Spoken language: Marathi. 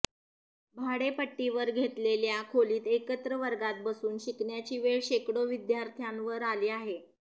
भाडेपट्टीवर घेतलेल्या खोलीत एकत्र वर्गात बसून शिकण्याची वेळ शेकडो विद्यार्थ्यांवर आली आहे